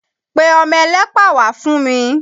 Pe ọmọ ẹlẹ́pà wá fún mi!